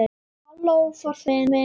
Halló forseti minn!